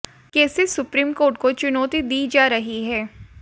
कैसे supreme court को चुनौती दी जा रही है